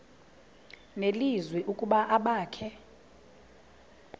nelizwi ukuba abakhe